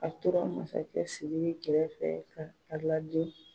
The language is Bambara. A tora masakɛ Sidiki kɛrɛfɛ fɛ ka ka lajɛ